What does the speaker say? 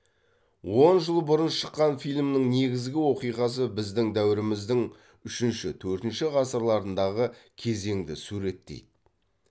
он жыл бұрын шыққан фильмнің негізгі оқиғасы біздің дәуіріміздің үшінші төртінші ғасырларындағы кезеңді суреттейді